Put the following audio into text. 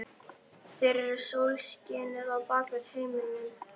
Þeir eru sólskinið á bak við heiminn.